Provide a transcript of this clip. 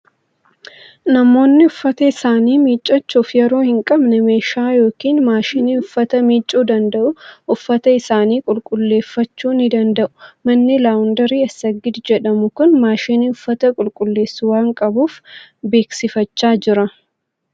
Namoonni uffata isaanii miicuuf yeroo hin qabne meeshaa yookiin maashinii uffata miicuu danda'uun uffata isaanii qulqulleeffachuu ni danda'u. Manni Laawundirii Assagid jedhamu kun maashinii uffata qulquleessu waan qabuuf beeksifachaa jira.